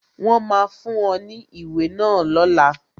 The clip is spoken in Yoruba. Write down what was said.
Wọn máa fún ọ ní ìwé náà lọ́la